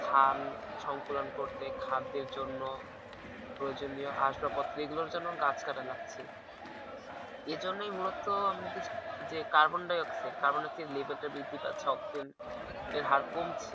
হাম সংকুলন করতে খাদ্যের জন্য প্রয়োজনীয় আসবাপত্র এইগুলোর জন্য গাছ কাটা লাগছে। এই জন্যই মূলত আমাদের যে carbon dioxide carbon dioxide level তা বৃদ্ধি পাচ্ছে। এর হার কমছে।